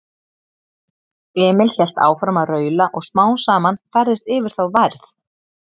Emil hélt áfram að raula og smám saman færðist yfir þá værð.